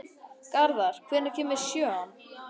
Garðar, hvenær kemur sjöan?